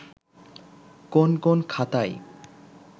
কোন কোন খাতায়